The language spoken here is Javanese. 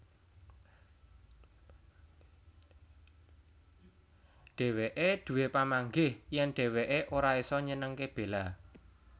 Dhéwéké duwé pamanggih yèn dhéwéké ora isa nyenengké Bella